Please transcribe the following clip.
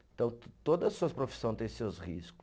Então, to todas suas profissões têm seus riscos.